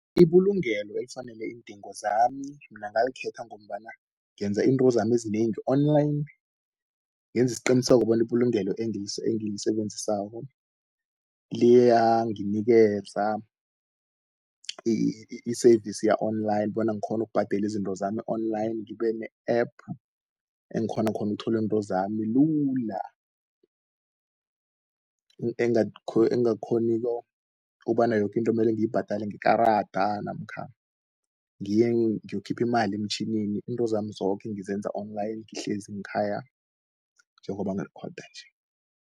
Ibulungelo ekufanele iindingo zami, mina ngalikhetha ngombana, ngenza into zami ezinengi online. Ngenzi isiqiniseko bona ibulungelo engilisebenzisako, liyanginikeza i-service ya-online bona kghonu ukbhadeli into zami online, ngibe ne-app ekghona khona ukutholi intwezami lula. Engakghoniko ukbana yoke into mmele ngiyibhadele ngekarada namkha ngiye ngiyokhiphi imali emtjhinini, izinto zami zoke ngizenza online ngihlezi nkhaya, njengoba ngili-oda nje.